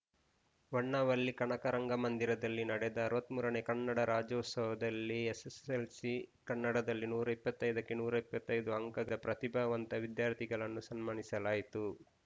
ಹೊನ್ನ ವಳ್ಳಿ ಕನಕ ರಂಗಮಂದಿರದಲ್ಲಿ ನಡೆದ ಅರವತ್ತ್ ಮೂರನೇ ಕನ್ನಡ ರಾಜ್ಯೋತ್ಸವದಲ್ಲಿ ಎಸ್‌ಎಸ್‌ಎಲ್‌ಸಿ ಕನ್ನಡದಲ್ಲಿ ನೂರ ಇಪ್ಪತ್ತ್ ಐದಕ್ಕೆ ನೂರ ಇಪ್ಪತ್ತ್ ಐದು ಅಂಕದ ಪ್ರತಿಭಾವಂತ ವಿದ್ಯಾರ್ಥಿಗಳನ್ನು ಸನ್ಮಾನಿಸಲಾಯಿತು